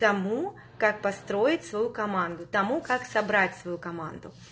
тому как построить свою команду тому как собрать свою команду